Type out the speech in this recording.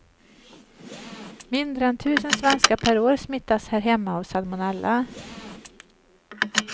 Mindre än tusen svenskar per år smittas här hemma av salmonella.